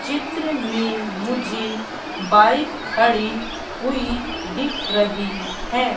चित्र में मुझे बाइक खड़ी हुई दिख रही है।